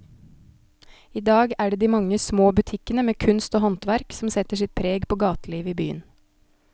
I dag er det de mange små butikkene med kunst og håndverk som setter sitt preg på gatelivet i byen.